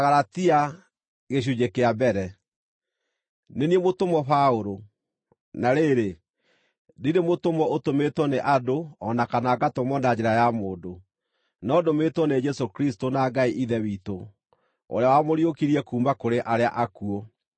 Nĩ niĩ mũtũmwo Paũlũ, na rĩrĩ, ndirĩ mũtũmwo ũtũmĩtwo nĩ andũ o na kana ngatũmwo na njĩra ya mũndũ, no ndũmĩtwo nĩ Jesũ Kristũ na Ngai Ithe witũ, ũrĩa wamũriũkirie kuuma kũrĩ arĩa akuũ.